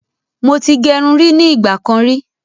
Mo ti gẹrun rí ní ìgbà kan rí